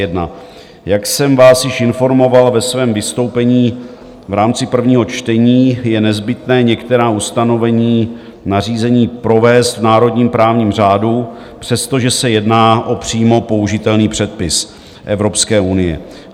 Jak jsem vás již informoval ve svém vystoupení v rámci prvního čtení, je nezbytné některá ustanovení nařízení provést v národním právním řádu, přestože se jedná o přímo použitelný předpis Evropské unie.